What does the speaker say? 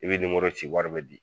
I bɛ ninmoro ci wari bɛ na.